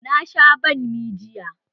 Na sha banmi jiya.